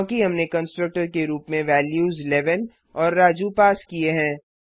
क्योंकि हमने कंस्ट्रक्टर के रुप में वेल्यूस 11 और राजू पास किए हैं